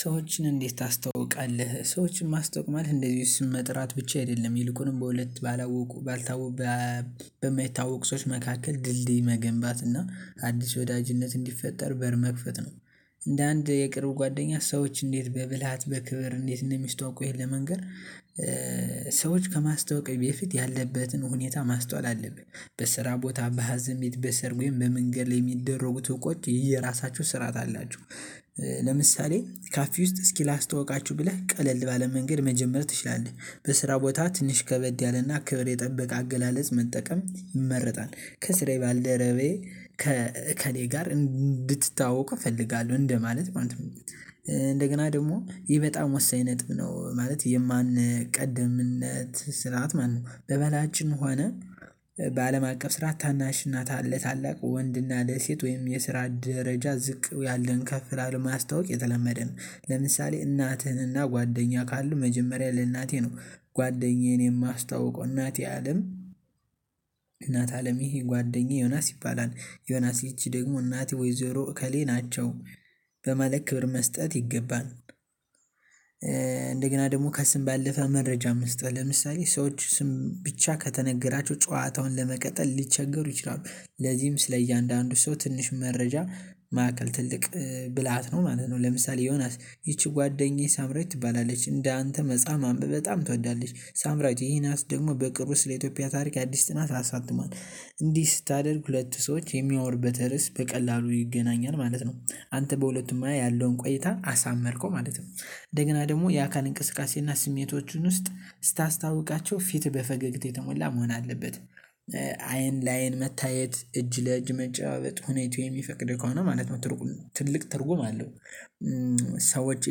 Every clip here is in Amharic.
ሰዎችን እንዴት ታስተዋውቃለህ? ሰዎችን ማስተውቅ ማለት እንደዚህ ስም መጥራት ብቻ አይደለም ይልቁንም በሁለት ባላወቁ ባልታወቁ በማይታወቅ ሰዎች መካከል ድልድይ መገንባት እና አዲስ ወዳጅነት እንዲፈጠር በር መክፈት ነው። እንደ አንድ የቅርብ ጓደኛ ሰዎች እንዴት በብልሃት በክብር እንዴት እንደሚስተዋውቁህ ይሄን መንገር። ሰዎች ከማስታወቂያ በፊት ያለበትን ሁኔታ ማስተዋል አለብን በስራ ቦታ በሀዘን ቤት በሰርግ ወይም በምንገድ ላይ ሚደረጉት ትውቆች የየራሳችው ስርዓት አላቸው። ለምሳሌ ካፌ ውስጥ እስኪ ላስታውቃችሁ ብለህ ቀለል ባለ መንገድ መጀመር ትችላለህ። በስራ ቦታ ትንሽ ከበድ ያለና ክብር የጠበቀ አገላለጽ መጠቀም ይመረጣል። ከስራዬ ባልደረባየ ከእከሌ ጋር እንድትታዋወቅ እፈልጋለሁ እንደማለት ማለት ነው። እንደገና ደግሞ ይህ በጣም ወሳኝ ነጥብ ነው ማለት የማንቀድምነት ስላት ማለት ነው። በባህላችንም ሆነ አቀፍ ስራ ታናሽ እናት ለታላቅ ወንድ ና ለሴት ወይም የስራ ደረጃ ዝቅ ያለን ከፍ ላለማስታወቅ የተለመደ ነው። ለምሳሌ እናትህንና ጓደኛ ካልን መጀመሪያ ለእናቴ ነው። ጓደኛዬን የማስታውቀው እናቴ አለም። እናት አለም ይሄ ጓደኛዬ ዮናስ ይባላል። ዮናስ ይህቺ ደግሞ እናቴ ወይዘሮ እከሌ ናቸው። በማለት ክብር መስጠት ይገባል። እንደገና ደግሞ ከስም ባለፈ መረጃ መስጠት ለምሳሌ ሰዎች ስም ብቻ ከተነገራቸው ጨዋታውን ለመቀጠል ሊቸገሩ ይችላሉ። ለዚህም ስለ እያንዳንዱ ሰው ትንሽ መረጃ ማዕከል ትልቅ ብልሃት ነው ማለት ነው። ለምሳሌ ዮናስ ይቺ ጓደኛዬ ሳምራዊት ትባላለች እንደ አንተ መጻፍ ማንብበ በጣም ትወዳለች ሳምራዊት ዩናስ ደግሞ በቅርቡ ስለ ኢትዮጵያ ታሪክ አዲስ ጥናት አሳትሟል። እንዲህ ስታደርግ ሁለት ሰዎች የሚያወሩበት ርዕስ በቀላሉ ይገናኛል ማለት ነው። አንተ በሁለቱም ያለውን ቆይታ አሳመርከው ማለት ነው። እንደገና ደግሞ የአካል እንቅስቃሴ እና ስሜቶቹን ውስጥ ስታስታውቃቸው ፊት በፈገግታ የተሞላ መሆን አለበት። አይን ለአይን መታየት እጅ ለእጅ መጨባበጥ ሁኔታው የሚፈቅድ ከሆነ ማለት ነው ትርጉም ትልቅ ትርጉም አለው። ሰዎች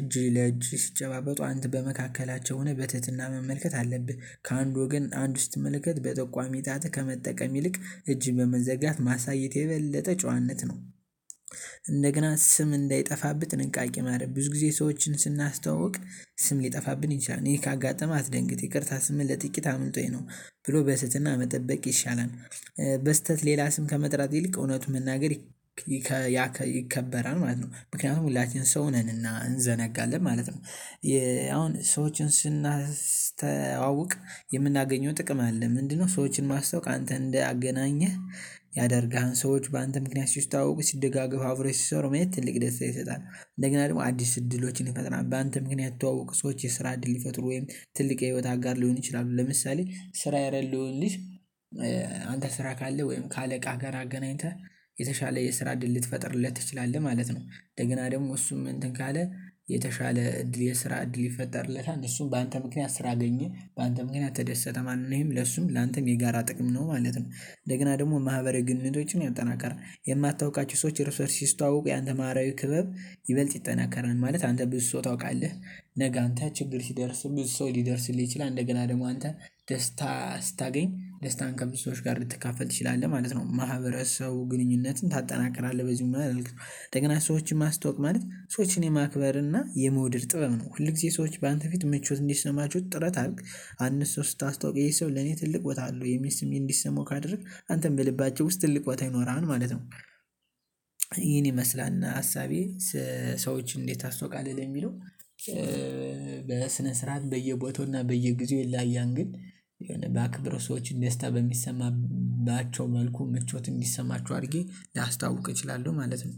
እጅ ለእጅ ሲጨባበጡ አንተ በመካከላቸው ሆነህ በትህትና መመልከት አለብህ ከአንድ ወገን አንድ ስትመለከት በጠቋሚ ጣትህ ከመጠቀም ይልቅ እጅ በመዘጋት ማሳየት የበለጠ ጫዋነት ነው። እንደገና ስም እንዳይጠፋብህ ጥንቃቄ ማድረግ ብዙ ጊዜ ሰዎችን ስናስተዋውቅ ስም ሊጠፋብን ይችላል እኔ ካጋጠመህ አትደንግጥ ይቅርታ ስምህን ለጥቂት አምጦኝ ነው። ብሎ በትህትና መጠበቅ ይሻላል። በስህተት ሌላ ስም ከመጥራት ይልቅ እውነቱን መናገር ይከበራል ማለት ነው። ምክንያቱም ሁላችንም ሰው ነንና እንዘነጋለን ማለት ነው። የአሁን ሰዎችን ስናስተዋውቅ የምናገኘው ጥቅም አለ ምንድን ነው? ሰዎችን ማስተዋወቅ አንተ እንዳገናኘህ። ያደርጋሃን ሰዎች በአንተ ምክንያት ሲስተዋውቁ ሲደጋገፍ አብረው ሲሰሩ ማየት ትልቅ ደስታ ይሰጣል። እንደገና ደግሞ አዲስ እድሎችን ይፈጥራል በአንተ ምክንያት የተዋወቁ ሰዎች የስራ እድል ይፈጥሩ ወይም ትልቅ የህይወት አጋር ሊሆን ይችላሉ። ለምሳሌ ስራ የለለውን ልጅ አንተ ስራ ካለህ ወይም ከአለቃ ጋር አገናኝተህ የተሻለ የስራ እድል ልትፈጥርለት ትችላለህ ማለት ነው። እንደገና ደግሞ እሱም እንትን ካለ የተሻለ እድል የስራ እድል ይፈጠርለታል እሱን በአንተ ምክንያት ስራ አገኘ። በአንተ ምክንያት ተደሰተ ማለት ነው ለሱም ላንተም የጋራ ጥቅም ነው ማለት ነው። እንደገና ደግሞ ማህበራዊ ግንኙነቶችን ያጠናክራል የማታውቃቸው ሰዎች ራሳቸው ሲስተዋውቁ ያንተ ማርያዊ ክበብ ይበልጥ ይጠናከራል ማለት አንተ ብዙ ሰው ታውቃለህ። ነገ አንተ ችግር ሲደርስ ብዙ ሰው ሊደርስልህ ይችላል። እንደገና ደግሞ አንተ ደስታ ስታገኝ ደስታን ከብዙ ሰዎች ጋር ልትካፈል ትችላለህ ማለት ነው። ማህበረሰቡ ግንኙነትን ታጠናክራለህ በዚህ ምናምን አላልክም። እንደገና ሰዎችን ማስተዋወቅ ማለት ሰዎችን የማክበር እና የመውደድ ጥበብ ነው። ሁልጊዜ ሰዎች በአንተ ፊት ምቾት እንዲሰማቸው ጥረት አድርግ። አንድ ሰው ስታስታዋውቅ ይሄ ሰው ለኔ ትልቅ ቦታ አለው የሚል ስሜት እንዲሰማው ካደረግክ አንተም በልባቸው ውስጥ ትልቅ ቦታ ይኖራሃል ማለት ነው። ይሄን ይመስላል እና ሀሳቤ ሰዎችን እንዴት ታስተዋውቃለህ የሚለው? በስነ ስርዓት በየቦታው እና በየጊዜው ይለያያል። ግን የሆነ ባክብረ ሰዎች ደስታ በሚሰማባቸው መልኩ ምቾት እንዲሰማቸው አድርጌ ላስታዋውቅ እችላለሁ ማለት ነው